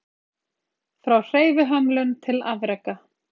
Frá hreyfihömlun til afreka